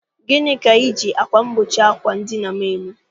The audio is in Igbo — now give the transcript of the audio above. Gịnị ka iji akwa mgbochi àkwà edina m eme?